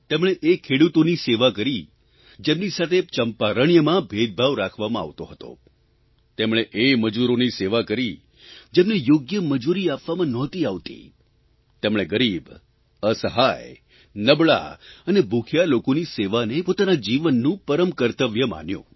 તેમણે એ ખેડૂતોની સેવા કરી જેમની સાથે ચંપારણ્યમાં ભેદભાવ રાખવામાં આવતો હતો તેમણે એ મજૂરોની સેવા કરી જેમને યોગ્ય મજૂરી આપવામાં નહોતી આવતી તેમણે ગરીબ અસહાય નબળા અને ભૂખ્યા લોકોની સેવાને પોતાના જીવનનું પરમ કર્તવ્ય માન્યુ